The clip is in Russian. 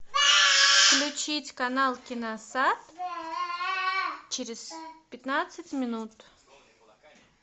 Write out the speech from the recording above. включить канал киносат через пятнадцать минут